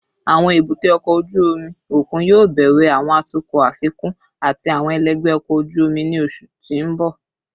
Awọn ebute oko oju omi okun yoo bẹwẹ awọn atukọ afikun ati awọn ẹlẹgbẹ ọkọ oju omi ni oṣu ti n bọ